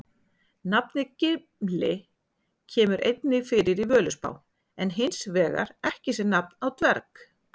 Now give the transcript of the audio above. Nafnið Gimli kemur einnig fyrir í Völuspá en hins vegar ekki sem nafn á dverg.